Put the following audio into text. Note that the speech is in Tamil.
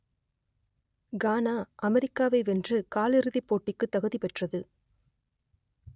கானா அமெரிக்காவை வென்று கால் இறுதிப்போட்டிக்குத் தகுதி பெற்றது